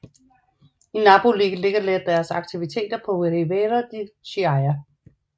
I Napoli ligger deres aktiviter på Riviera di Chiaia